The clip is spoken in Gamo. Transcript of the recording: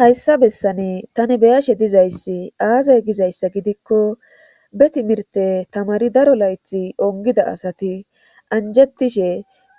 hayssa bessane tani beyashe dizayssi aazay gizayssa gidikko be timirte tamari daro laythi ongida asati anjettishe